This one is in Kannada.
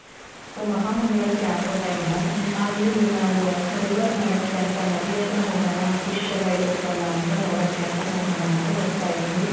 so ಮಹಾಮಂಗಳಾರತಿ ಆಗೋ time ಅlಲ್ಲಿ ನಾವು river ನೋಡಕೆ ಅಂತ ನದಿ ಹತ್ರ ಹೋಗಣ fish ಎಲ್ಲಾ ಇರುತ್ತಲ ಅಂತ ನೋಡಕೆ ಅಂತ ಹೋಗೋಣ ಅಂತ ಹೋಗ್ತಾ ಇದ್ವಿ.